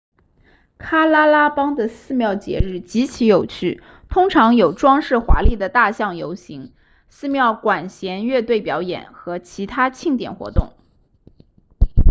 喀拉拉邦的寺庙节日极其有趣通常有装饰华丽的大象游行寺庙管弦乐队表演和其他庆典活动